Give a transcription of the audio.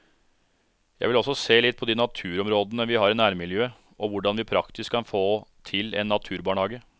Jeg vil også se litt på de naturområdene vi har i nærmiljøet og hvordan vi praktisk kan få til en naturbarnehage.